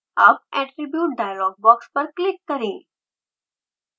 अब attribute dialog box पर click करें